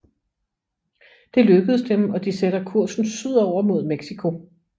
Det lykkedes dem og de sætter kursen sydover mod Mexico